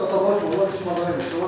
Ata-bala işləmişik, məşğul olmuşuq.